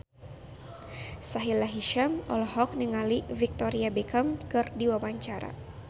Sahila Hisyam olohok ningali Victoria Beckham keur diwawancara